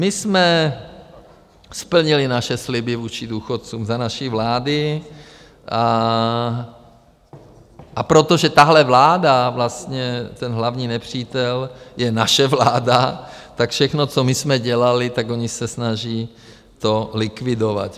My jsme splnili naše sliby vůči důchodcům za naší vlády, a protože tahle vláda - vlastně ten hlavní nepřítel je naše vláda, tak všechno, co my jsme dělali, tak oni se snaží to likvidovat.